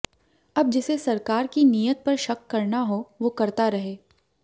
अब जिसे सरकार की नीयत पर शक करना हो वो करता रहे